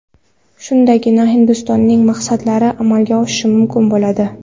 Shundagina Hindistonning maqsadlari amalga oshishi mumkin bo‘ladi.